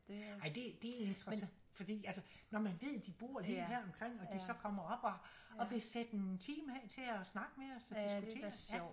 Ej det det interessant fordi altså når man ved de bor lige heromkring og de så kommer op og og vil sætte en time af til at snakke med os og diskutere